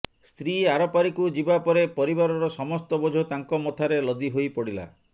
ସ୍ତ୍ରୀ ଆରପାରିକୁ ଯିବା ପରେ ପରିବାରର ସମସ୍ତ ବୋଝ ତାଙ୍କ ମଥାରେ ଲଦି ହୋଇପଡିଲା